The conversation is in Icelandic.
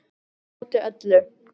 Á móti öllu